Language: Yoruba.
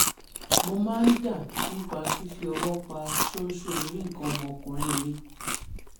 mo máa ń dà nípa fífi ọwọ́ pa ṣóńṣó orí nǹkan ọmọkùnrin mi